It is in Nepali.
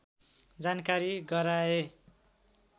जानकारी गराए